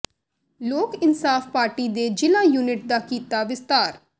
ਲੋਕ ਇਨਸਾਫ ਪਾਰਟੀ ਨੇ ਜ਼ਿਲ੍ਹਾ ਯੂਨਿਟ ਦਾ ਕੀਤਾ ਵਿਸਥਾਰ